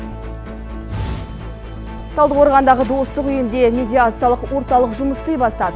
талдықорғандағы достық үйінде медиациялық орталық жұмыс істей бастады